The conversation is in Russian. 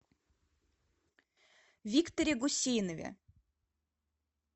викторе гусейнове